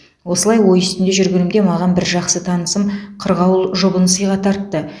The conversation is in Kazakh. осылай ой үстінде жүргенімде маған бір жақсы танысым қырғауыл жұбын сыйға тартты